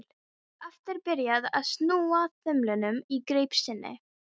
Hann var aftur byrjaður að snúa þumlunum í greip sinni.